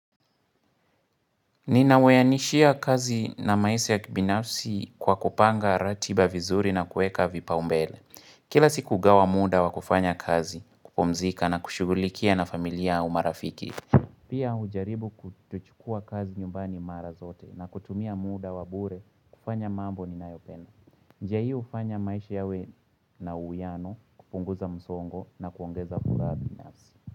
Ninawayanishia kazi na maise ya kibinafsi kwa kupanga ratiba vizuri na kueka vipau mbele. Kila siku gawa muda wa kufanya kazi, kupumzika na kushugulikia na familia, umarafiki. Pia hujaribu kutouchukua kazi nyumbani mara zote na kutumia muda wa bure kufanya mambo ninayopenda. Njia hii hufanya maish yawe na uyano kupunguza msongo na kuongeza furaha binafsi.